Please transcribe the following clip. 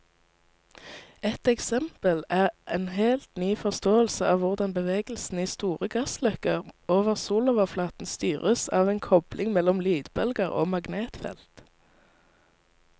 Et eksempel er en helt ny forståelse av hvordan bevegelsen i store gassløkker over soloverflaten styres av en kobling mellom lydbølger og magnetfeltet.